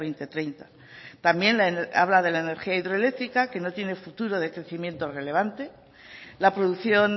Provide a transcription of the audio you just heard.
dos mil treinta también habla de la energía hidroeléctrica que no tiene futuro de crecimiento relevante la producción